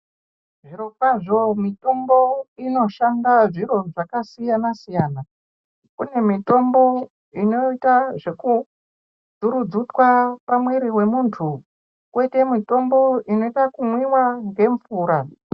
Zviro kwazvo mitombo ino shanda zviro zvaka siyana siyana kune mitombo inoita zveku dzurudzutwa pa mwiri we munhu koite mitombo inoita ku mwiwa nge mvura.